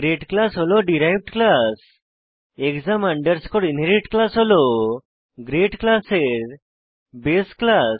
grade class হল derived class exam underscore inherit class হল grade ক্লাসের বাসে ক্লাস